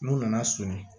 N'u nana so ye